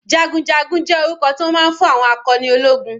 Jagunjagun jẹ́ orúkọ tí wọ́n máa ń fún àwọn akọni ológun.